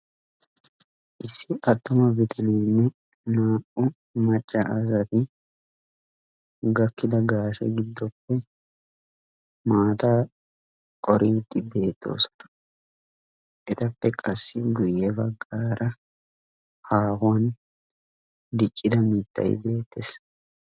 Issi attuma bitaneenne naa"u macca asati gakkida gaashe giddoppe maataa qeriddi beettoosona etappe qassi guye baggaara haahuwan diccidda mittay bettees.